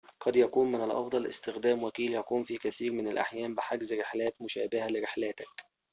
قد يكون من الأفضل استخدام وكيل يقوم في كثيرٍ من الأحيان بحجز رحلاتٍ مشابهةٍ لرحلاتك